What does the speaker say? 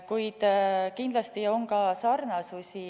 Kuid kindlasti on ka sarnasusi.